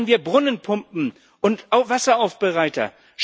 Liefern wir Brunnenpumpen und Wasseraufbereiter!